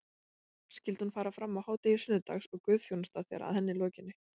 Skyldi hún fara fram á hádegi sunnudags og guðþjónusta þegar að henni lokinni.